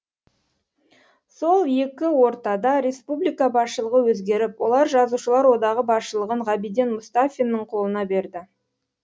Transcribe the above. сол екі ортада республика басшылығы өзгеріп олар жазушылар одағы басшылығын ғабиден мұстафиннің қолына берді